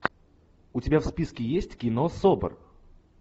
у тебя в списке есть кино собр